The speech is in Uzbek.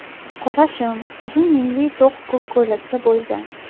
Qora shim, uzun yengli to‘q ko‘k ko‘ylakda bo‘lgan.